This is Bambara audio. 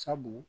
Sabu